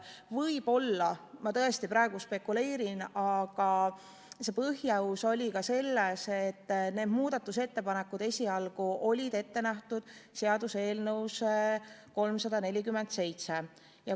Võib‑olla ma tõesti praegu spekuleerin, aga põhjus oli ka selles, et need muudatusettepanekud olid esialgu ette nähtud seaduseelnõu 347 kohta.